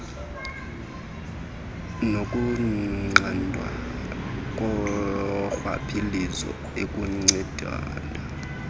nokunqandwa korhwaphilizo okunceda